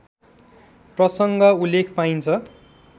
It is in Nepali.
प्रसङ्ग उल्लेख पाइन्छ